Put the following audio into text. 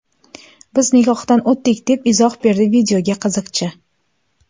Biz nikohdan o‘tdik”, deb izoh berdi videoga qiziqchi.